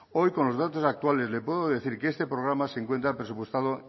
hoy con los datos actuales le puedo decir que este programa se encuentra presupuestado